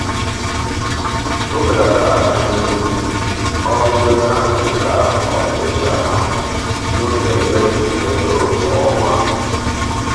o belatara ọrụ ndenye aha dị ka ọ tụlechara ha n'oge mmefu ego kwa ọnwa.